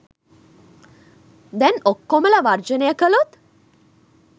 දැන් ඔක්කොමලා වර්ජනය කලොත්